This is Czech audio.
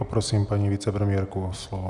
Poprosím paní vicepremiérku o slovo.